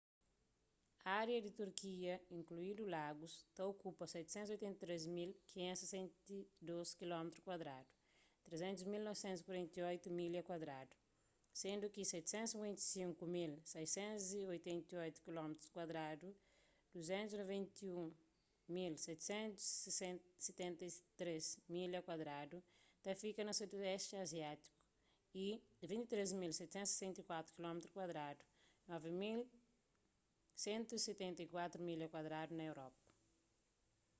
ária di turquia inkluindu lagus ta okupa 783.562 kilómitrus kuadradu 300.948 milha kuadradu sendu ki 755.688 kilómitrus kuadradu 291.773 milha kuadradu ta fika na sudoesti aziátiku y 23.764 kilómitrus kuadradu 9.174 milha kuadradu na europa